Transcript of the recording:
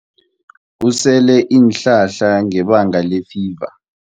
Usele iinhlahla ngebanga lefiva.